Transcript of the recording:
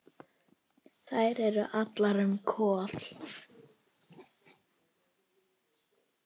Þær eru allar um Kol.